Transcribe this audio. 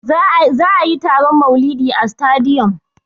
Za'a yi taron maulidi a sitadiyom.